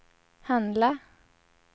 handla